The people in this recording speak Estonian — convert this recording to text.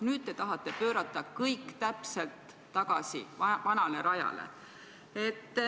Nüüd tahate te kõik täpselt vanale rajale tagasi pöörata.